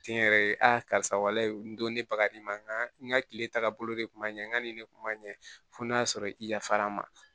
Kɛnyɛrɛye karisa walahi n don ne bagaji ma nka nka n ka kile tagabolo de tun man ɲɛ n ka ni ne kun ma ɲɛ fo n'a sɔrɔ i yafar'a ma